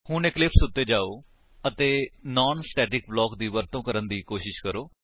ਹੁਣ ਇਕਲਿਪਸ ਉੱਤੇ ਜਾਓ ਅਤੇ ਨਾਨ ਸਟੇਟਿਕ ਬਲਾਕ ਦੀ ਵਰਤੋ ਕਰਨ ਦੀ ਕੋਸ਼ਿਸ਼ ਕਰੋ